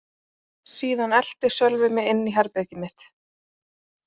Síðan elti Sölvi mig inn í herbergið mitt.